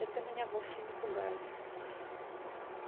это меня вовсе не пугает